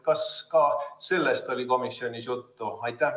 Kas ka sellest oli komisjonis juttu?